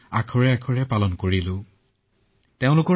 আমি ১ শতাংশও সমস্যা নাপালো